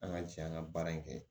An ka jɛ an ka baara in kɛ